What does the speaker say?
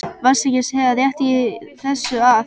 Varstu ekki að segja rétt í þessu að?